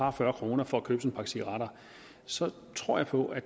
og fyrre kroner for at købe en pakke cigaretter så tror jeg på at